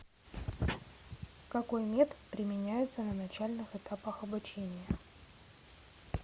какой метод применяется на начальных этапах обучения